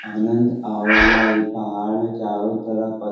आनंद आव ला इ पहाड़ चारो तरफ़ पत्थर --